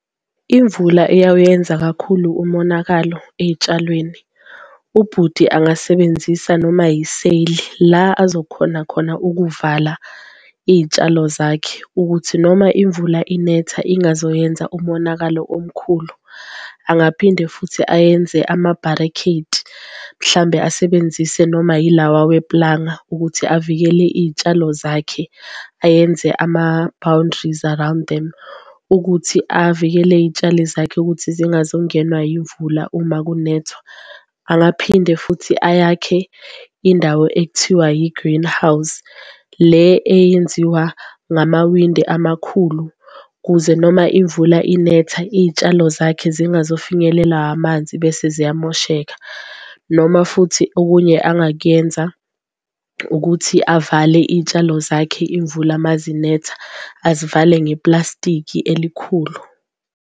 Imvula eyawuyenza kakhulu umonakalo ey'tshalweni ubhuti angasebenzisa noma yiseyili la azokhona khona ukuvala iy'tshalo zakhe, ukuthi noma imvula inetha ingazoyenza umonakalo omkhulu. Angaphinde futhi ayenze ama-barricade mhlambe asebenzise noma yilawa weplanga ukuthi avikele iy'tshalo zakhe, ayenze ama-boundaries around them ukuthi avikele iy'tshali zakhe ukuthi zingazongenwa yimvula uma kunethwa. Angaphinde futhi ayakhe indawo ekuthiwa yi-greenhouse le eyenziwa ngamawindi amakhulu, kuze noma imvula inetha iy'tshalo zakhe zingazofinyelela amanzi bese ziyamosheka. Noma futhi okunye angakuyenza ukuthi avale iy'tshalo zakhe imvula mazinetha azivale neplastikhi elikhulu.